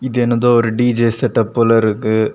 இது எனதோ ஒரு டி_ஜே செட்டப் போல இருக்கு.